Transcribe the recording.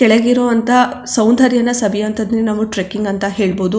ಕೆಳಗಿರುವಂತ ಸೌಂದರ್ಯನಾ ಸವಿಯೋವಂತದ್ನ ನಾವು ಟ್ರಕ್ಕಿಂಗ್ ಅಂತ ಹೇಳಬಹುದು.